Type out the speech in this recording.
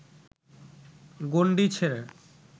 গণ্ডি ছেড়ে